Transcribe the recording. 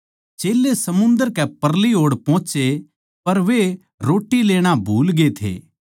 चेल्लें समुन्दर कै परली ओड़ पोहोचे पर वे रोट्टी लेणा भूलगे थे